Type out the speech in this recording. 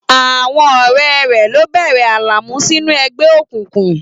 Àwọn ọ̀rẹ́ rẹ̀ ló bẹ̀rẹ̀ Alamu sínú ẹgbẹ́ òkùnkùn.